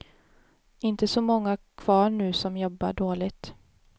Inte så många kvar nu som jobbar dåligt.